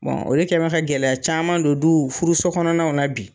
o de kɛ bɛn ka gɛlɛya caman don du furuso kɔnɔnaw na bi.